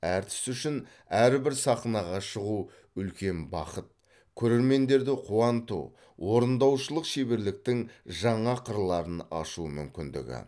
әртіс үшін әрбір сахнаға шығу үлкен бақыт көрермендерді қуанту орындаушылық шеберліктің жаңа қырларын ашу мүмкіндігі